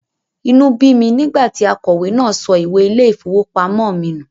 Inú bí mi nígbà tí akọ̀wé náà sọ ìwé ilé-ìfowópamọ́ mi nù.